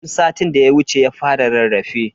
Tun satin da ya wuce ya fara rarrafe.